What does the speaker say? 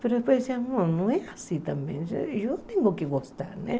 Mas depois eu disse, não, não é assim também, eu tenho que gostar, né?